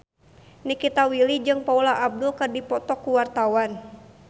Nikita Willy jeung Paula Abdul keur dipoto ku wartawan